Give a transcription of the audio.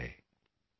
अभी तो सूरज उगा है